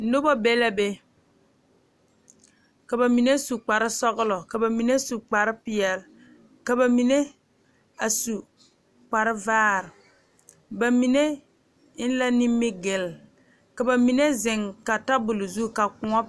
Noba be la be ka bamine su kpare sɔglɔ, ka bamine su kpare peɛle ka bamine a su kpare vaare bamine eŋ la nimigele ka bamine zeŋ ka tabol zu ka kõɔ.